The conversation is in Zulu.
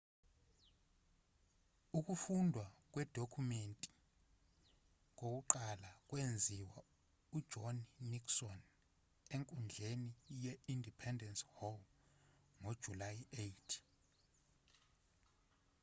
ukufundwa kwedokhumenti kokuqala kwenziwa ujohn nixon enkundleni ye-independence hall ngojulayi 8